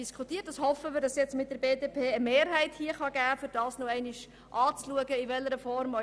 Wir hoffen, dass zusammen mit der BDP eine Mehrheit entsteht, um die Motorfahrzeugsteuer in geeigneter Form nochmals anzuschauen.